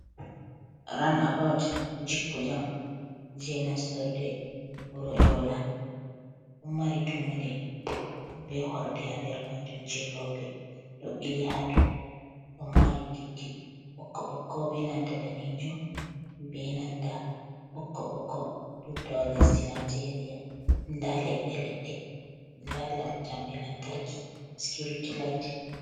Ranabout jippu jam je nastorde wuro yola, do mari tummude be horde hander majum je lope do bili ha do do mari bindi bokko bokko be nanta danejum be nanta bokko bokko da lesdi nigeria da ledde ledde da jamde lantarki security light.